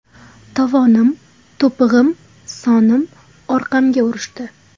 Tovonim, to‘pig‘im, sonim, orqamga urishdi.